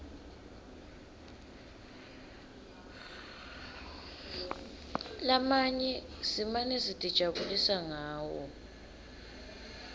lamanye simane sitijabulisa ngawo